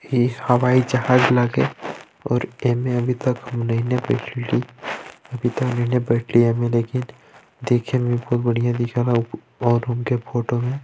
ई हवाईजहाज लागे और ए मे अभी तक नैने देखे में बहुत बढ़िया दिखे है और उनके फोटो --